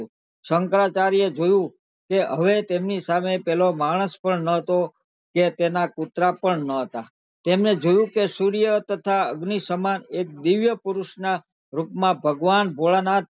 શંકરાચાર્ય એ જોયું કે હવે તેમની સામે પેલો માણસ પણ નતો કે તેના કુતરા પણ નતા તમને જોયું કે સૂર્ય તથા અગ્નિ સમાન એક દિવ્ય પુરુષ ના રૂપ માં ભગવાન ભોળા નાથ